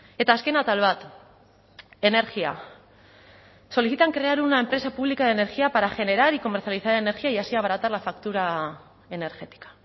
eta azken atal bat energia solicitan crear una empresa pública de energía para generar y comercializar energía y así abaratar la factura energética